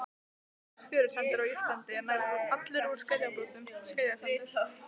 Ljós fjörusandur á Íslandi er nær allur úr skeljabrotum, skeljasandur.